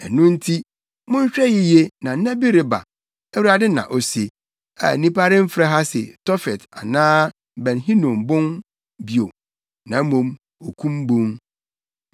Ɛno nti, monhwɛ yiye na nna bi reba, Awurade na ose, a nnipa remfrɛ ha se Tofet anaa Ben Hinom Bon bio, na mmom, Okum Bon.